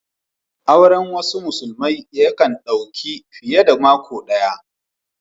Auren wasu musulmai ya kan dau ka fiye da mako daya.